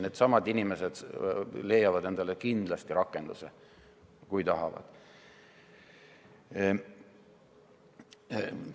Need inimesed leiavad endale kindlasti rakenduse, kui tahavad.